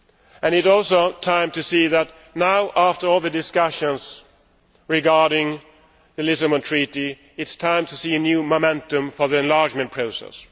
And it is also time to see that now, after all the discussions regarding the Lisbon Treaty, it is time to see a new momentum for the enlargement process.